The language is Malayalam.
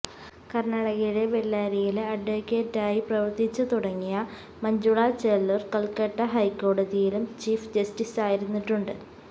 കര്ണ്ണാടകയിലെ ബെല്ലാരിയില് അഡ്വക്കേറ്റായി പ്രവര്ത്തിച്ചുതുടങ്ങിയ മഞ്ജുള ചെല്ലൂര് കല്ക്കട്ട ഹൈക്കോടതിയിലും ചീഫ് ജസ്റ്റിസായിരുന്നിട്ടുണ്ട്